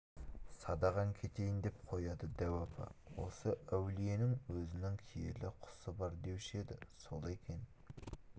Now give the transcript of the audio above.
садағаң кетейін деп қояды дәу апа осы әулиенің өзінің киелі құсы бар деуші еді сол екен